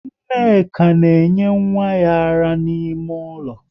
Nneka na enye nwa ya ara n'ime ụlọ